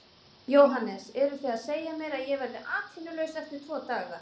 JÓHANNES: Eruð þið að segja mér, að ég verði atvinnulaus eftir tvo daga?